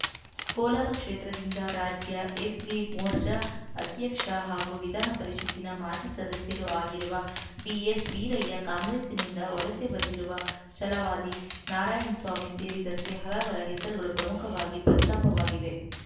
ಕೋಲಾರ ಕ್ಷೇತ್ರದಿಂದ ರಾಜ್ಯ ಎಸ್‌ಸಿ ಮೋರ್ಚಾ ಅಧ್ಯಕ್ಷ ಹಾಗೂ ವಿಧಾನಪರಿಷತ್ತಿನ ಮಾಜಿ ಸದಸ್ಯರೂ ಆಗಿರುವ ಡಿಎಸ್‌ವೀರಯ್ಯ ಕಾಂಗ್ರೆಸ್‌ನಿಂದ ವಲಸೆ ಬಂದಿರುವ ಛಲವಾದಿ ನಾರಾಯಣಸ್ವಾಮಿ ಸೇರಿದಂತೆ ಹಲವರ ಹೆಸರುಗಳು ಪ್ರಮುಖವಾಗಿ ಪ್ರಸ್ತಾಪವಾಗಿವೆ